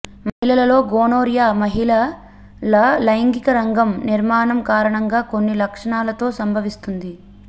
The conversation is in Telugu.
మహిళలలో గోనోర్యా మహిళల లైంగిక రంగం నిర్మాణం కారణంగా కొన్ని లక్షణాలతో సంభవిస్తుంది